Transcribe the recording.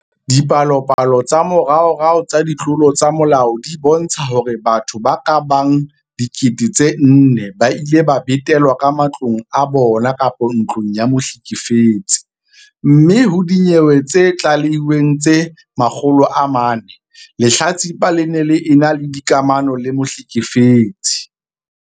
Dipalopalo tsa moraorao tsa ditlolo tsa molao di bontsha hore batho ba ka bang 4 000 ba ile ba betelwa ka matlong a bona kapa ntlong ya mohlekefetsi, mme ho dinyewe tse tlalehilweng tse 400, lehlatsipa le ne le ena le dikamano le mohlekefetsi.